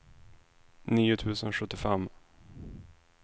nio tusen sjuttiofem